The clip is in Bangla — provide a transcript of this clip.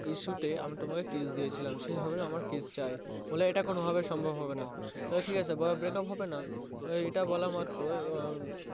আমি তোমাকে kiss দিয়েছিলাম তো সেভাবেই আমার kiss চাই বলে এটা কোনোভাবেই সম্ভব হবেনা তাহলে ঠিকাছে বলে breakup হবেনা এটা বলা মাত্রই